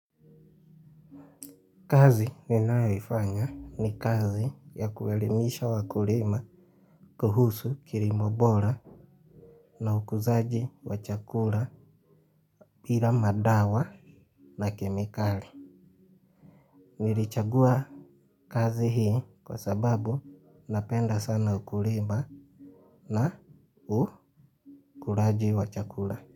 Kazi ninayoifanya ni kazi ya kuwaelimisha wakulima kuhusu kilimo bora na ukuzaji wa chakula bila madawa na kemikali. Nilichagua kazi hii kwa sababu napenda sana ukulima na ukulaji wa chakula.